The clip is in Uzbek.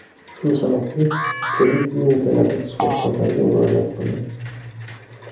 Shu sababli turli klinikalardagi shifokorlarga murojaat qildik.